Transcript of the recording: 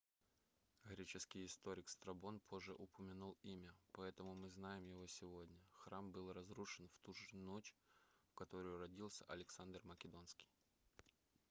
греческий историк страбон позже упомянул имя поэтому мы знаем его сегодня храм был разрушен в туже ночь в которую родился александр македонский